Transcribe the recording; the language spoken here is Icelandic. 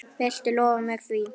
Viltu lofa mér því?